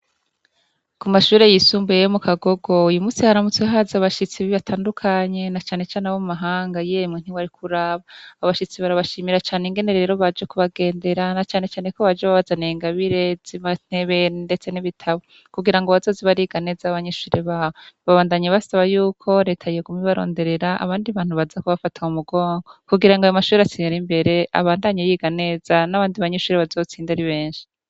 Ku mashuri yisumbuye yo mu kagogo ,uyu munsi yharamutse ahazi abashitsi batandukanye na canecane abo mu mahanga yimwe ntiwari kuraba abashitsi barabashimira cane ingener rero baje kubagendera na cane ko baje babaza na ingabire z'imantebene ndetse n'ibitabo kugira ngo abazozi bari iganeza abanyishure bawe babandanye basaba y'uko leta yegume baronderera abandi bantu baza ko bafataho umugongo kugira ngo aba mashuri asinira imbere abandanye yiganeza n'abandi banyishure bazotsinda ari benshi.